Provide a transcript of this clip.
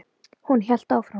Hún hélt áfram.